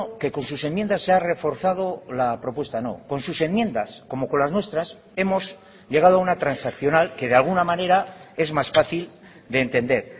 que con sus enmiendas se ha reforzado la propuesta no con sus enmiendas como con las nuestras hemos llegado a una transaccional que de alguna manera es más fácil de entender